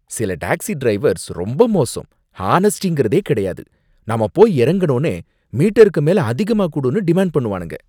சில taxi drivers ரொம்ப மோசம், ஹானஸ்டிங்கிறதே கிடையாது, நாம போய் இறங்குனோனே 'மீட்டருக்கு மேல அதிகமா குடு'ன்னு டிமான்ட் பண்ணுவானுங்க.